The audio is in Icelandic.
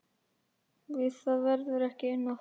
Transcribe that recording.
Við það verður ekki unað.